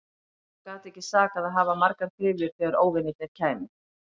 Það gat ekki sakað að hafa margar gryfjur þegar óvinirnir kæmu.